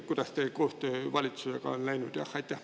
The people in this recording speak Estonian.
Kuidas teie koostöö valitsusega on läinud?